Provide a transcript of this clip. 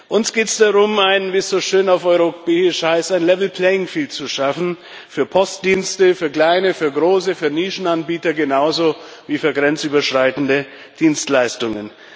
Uns geht es darum, ein wie es so schön auf Europäisch heißt level playing field zu schaffen für Postdienste für kleine, für große, für Nischenanbieter genauso wie für grenzüberschreitende Dienstleistungen.